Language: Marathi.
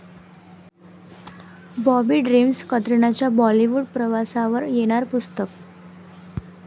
बार्बी ड्रिम्स', कतरिनाच्या बॉलिवूड प्रवासावर येणार पुस्तक